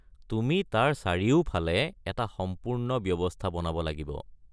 তুমি তাৰ চাৰিওফালে এটা সম্পূৰ্ণ ব্যৱস্থা বনাব লাগিব।